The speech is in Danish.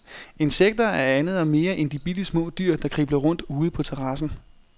Insekter er andet og mere end de bittesmå dyr, der kribler rundt ude på terrassen.